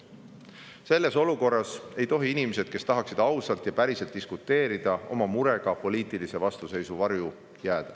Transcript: Selles olukorras ei tohi inimesed, kes tahaksid ausalt ja päriselt diskuteerida, oma murega poliitilise vastuseisu varju jääda.